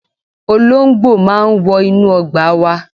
Olóńgbò máa ń wọ inú ọgbà wa.